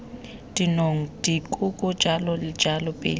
dinong dikoko jalo jalo pele